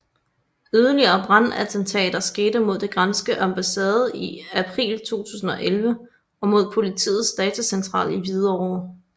Yderligere brandattentater skete mod den græske ambassade i april 2011 og mod politiets datacentral i Hvidovre